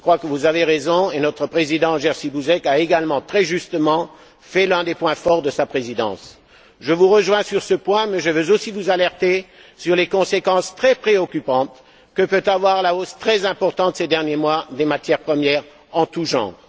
Je crois que vous avez raison. Jerzy Buzek, notre Président, en a également très justement fait l'un des points forts de sa Présidence. Je vous rejoins sur ce point mais je veux aussi vous alerter sur les conséquences très préoccupantes que peut avoir la hausse, très importante ces derniers mois, des prix des matières premières en tous genres.